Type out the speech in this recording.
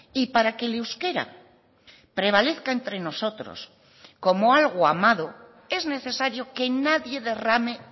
y para que el euskera prevalezca entre nosotros como algo amado es necesario que nadie derrame